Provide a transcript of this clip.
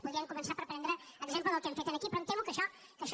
podrien començar per prendre exemple del que hem fet aquí però em temo que això